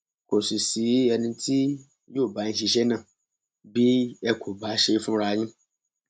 kò sì sí ẹni tí yóò bá yín ṣiṣẹ náà bí ẹ kò bá ṣe é fúnra yín